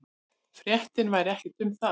Fréttin væri ekki um það.